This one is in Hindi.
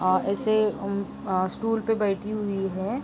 और ऐसे अम्म अ स्टूल पे बैठी हुइ है।